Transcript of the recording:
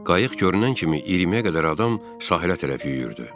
Qayıq görünən kimi 20-yə qədər adam sahilə tərəf yüyürdü.